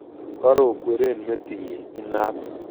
Karokweren metinyin inat